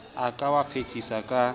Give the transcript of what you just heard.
a ka wa phethisa ka